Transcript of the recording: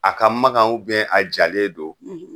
A ka magan a jalen don